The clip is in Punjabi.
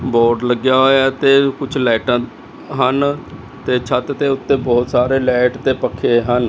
ਬੋਰਡ ਲੱਗੇਆ ਹੋਯਾ ਹੈ ਤੇ ਕੁਛ ਲਾਈਟਾਂ ਹਨ ਤੇ ਛੱਤ ਦੇ ਓੱਤੇ ਬੋਹੁਤ ਸਾਰੇ ਲਾਇਟ ਤੇ ਪੱਖੇ ਹਨ।